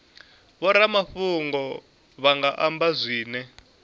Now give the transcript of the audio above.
vhoramafhungo vha nga amba zwine